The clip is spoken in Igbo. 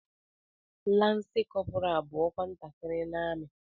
Lansi kọpura bú ọkwa ntakịrị n'amị